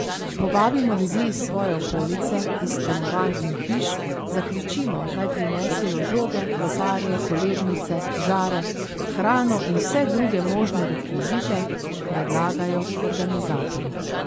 Povabimo ljudi iz svoje okolice iz stanovanj in hiš, zakričimo, naj prinesejo žoge, loparje, kolebnice, žare, hrano in vse druge možne rekvizite, predlagajo organizatorji.